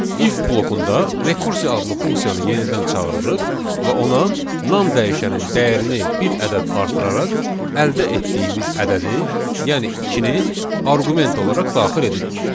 If blokunda rekursiya adlı funksiyanı yenidən çağırırıq və ona nam dəyişənin dəyərini bir ədəd artıraraq əldə etdiyimiz ədədi, yəni ikini arqument olaraq daxil edirik.